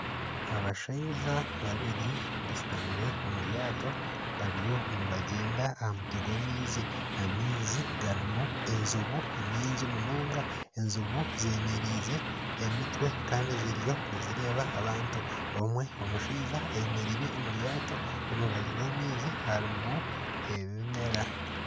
Abashaija babiri bashutamire omu ryato, bariyo nibagyenda aha mutwe gw'amaizi, amaizi garimu enjubu nyingi munonga, enjubu z'emereize emitwe kandi ziriyo nizireeba abantu omwe omushaija ayemereire omu ryato omu rubaju rw'amaizi harimu ebimera